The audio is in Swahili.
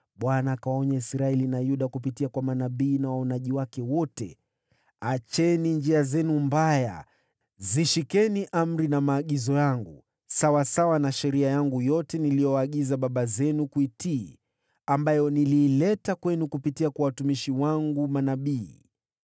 Bwana akawaonya Israeli na Yuda kupitia kwa manabii na waonaji wake wote: “Acheni njia zenu mbaya. Shikeni amri na maagizo yangu, kufuatana na sheria yangu yote niliyowaagiza baba zenu kuitii ambayo niliileta kwenu kupitia kwa watumishi wangu manabii.”